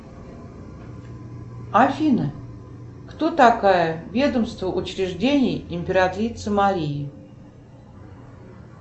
афина кто такая ведомство учреждений императрицы марии